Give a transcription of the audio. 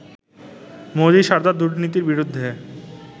মোদি সারদা দুর্নীতির বিরুদ্ধে